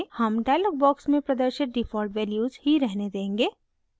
हम dialog box में प्रदर्शित default values ही रहने देंगे